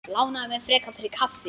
Lánaðu mér frekar fyrir kaffi.